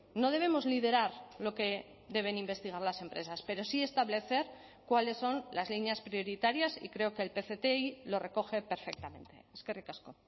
no debemos liderar lo que deben investigar las empresas pero sí establecer cuáles son las líneas prioritarias y creo que el pcti lo recoge perfectamente eskerrik asko